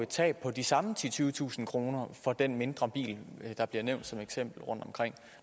tab på de samme titusind tyvetusind kroner for den mindre bil der bliver nævnt som eksempel rundtomkring